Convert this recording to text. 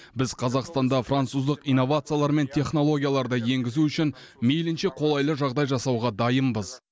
біз қазақстанда француздық инновациялар мен технологияларды енгізу үшін мейлінше қолайлы жағдай жасауға дайынбыз